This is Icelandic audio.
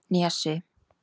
Nesi